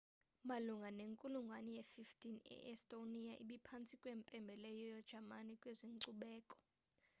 malunga nenkulungwane ye-15 i-estonia ibiphantsi kwempembelelo yejamani kwezenkcubeko